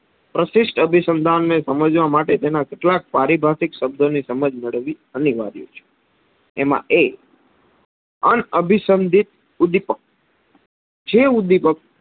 પ્રશિસ્ટ અભિસંધાનને સમજવા માટે તેના કેટલાક પારિવારિક સબ્દોની સમજ મેળવવી અનીવાર્ય છે એમાં એક અનઅભિસંધીત ઉદીપક. જે ઉદીપક